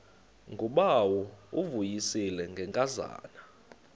ngubawo uvuyisile ngenkazana